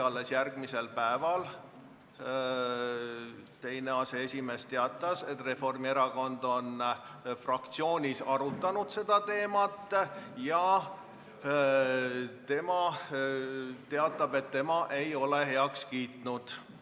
Alles järgmisel päeval teatas teine aseesimees, et Reformierakond on fraktsioonis seda teemat arutanud, ja ta teatas, et tema ei ole päevakorda heaks kiitnud.